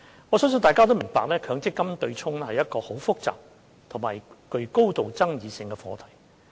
我相信大家都明白，強積金對沖是一個很複雜及具高度爭議性的課題。